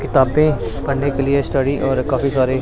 किताबें पढ़ने के लिए स्टडी और काफी सारे--